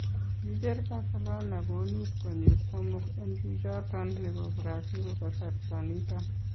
Kicheer Barcelona konuut konyill somook en chichoton nebo Brazil kasarta niton.